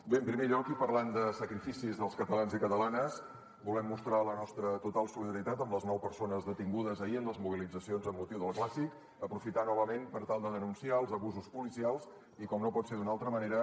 bé en primer lloc i parlant de sacrificis dels catalans i catalanes volem mostrar la nostra total solidaritat amb les nou persones detingudes ahir en les mobilitzacions amb motiu del clàssic aprofitar novament per tal de denunciar els abusos policials i com no pot ser d’una altra manera